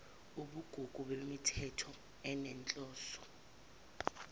ubugugu bemithetho enezinhloso